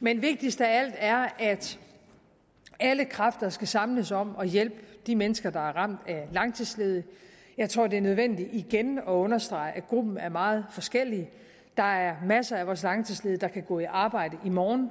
men vigtigst af alt er at alle kræfter skal samles om at hjælpe de mennesker der er ramt af langtidsledighed jeg tror at det er nødvendigt igen at understrege at gruppen er meget forskellig der er masser af vores langtidsledige der kan gå i arbejde i morgen